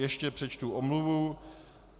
Ještě přečtu omluvu.